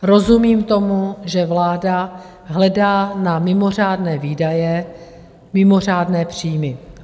Rozumím tomu, že vláda hledá na mimořádné výdaje mimořádné příjmy.